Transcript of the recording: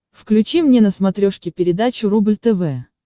включи мне на смотрешке передачу рубль тв